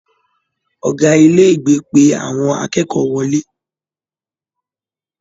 Ọgá ilé ìgbé pé àwọn akẹ́kọ̀ọ́ wọlé.